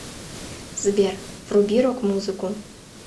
сбер вруби рок музыку